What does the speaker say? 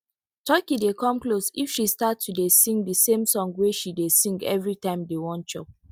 turkey dey come close if she start to dey sing di same song wey she dey sing every time dem wan chop